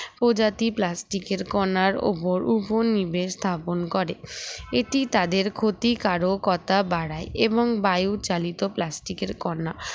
প্রজাতি plastic এর কনার উপর উপনিবেশ স্থাপন করে এটি তাদের ক্ষতিকারকতা বাড়ায় এবং বায়ু চালিত plastic এর কনা